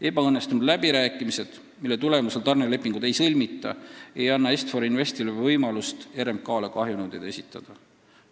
Ebaõnnestunud läbirääkimised, mille tulemusel tarnelepingut ei sõlmita, ei anna Est-For Investile võimalust RMK-le kahjunõudeid esitada.